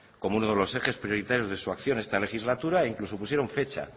como uno de los ejes prioritarios de su acción esta legislatura e incluso pusieron fecha